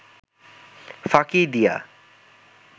ফাঁকি দিয়া